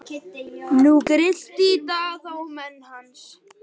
Nú grillti í Daða og menn hans.